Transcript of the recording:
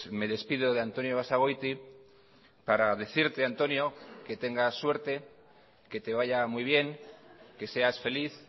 me despido de antonio basagoiti para decirte antonio que tengas suerte que te vaya muy bien que seas feliz